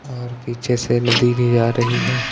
और पीछे से नदी भी आ रही है।